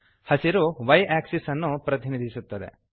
ಹಸಿರು Y axis ಅನ್ನು ಪ್ರತಿನಿಧಿಸುತ್ತದೆ